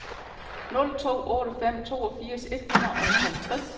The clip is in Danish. nul to otte fem toogfirs et hundrede og halvtreds